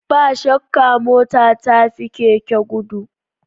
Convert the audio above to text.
Ba shakka mota ta fi keke gudu